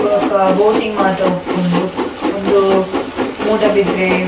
ಬೊಕ್ಕ ಬೋಟಿಂಗ್ ಮಾತ ಉಪ್ಪುಂಡು ಉಂದು ಮೂಡಬಿದ್ರೆ.